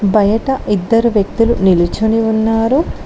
బయట ఇద్దరు వ్యక్తులు నిల్చొని ఉన్నారు.